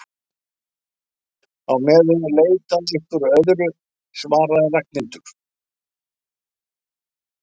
Á meðan ég leita að einhverju öðru svaraði Ragnhildur.